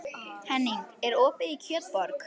Henning, er opið í Kjötborg?